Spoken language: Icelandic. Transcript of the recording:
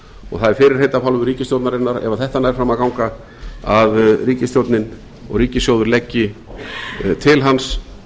og það er fyrirheit af hálfu ríkisstjórnarinnar ef þetta nær fram að ganga að ríkisstjórnin og ríkissjóður leggi til hans